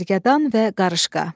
Gərgədan və Qarışqa.